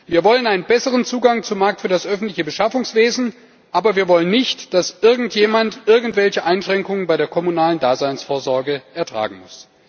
Wir wollen einen besseren Zugang zum Markt für das öffentliche Beschaffungswesen, aber wir wollen nicht, dass irgendjemand irgendwelche Einschränkungen bei der kommunalen Daseinsvorsorge ertragen muss.